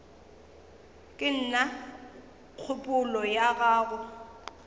ke na kgopolo ya go